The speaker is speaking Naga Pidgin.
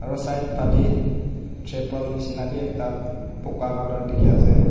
Aro side phale chaple neshna beh ekta puka colour dekhe ase.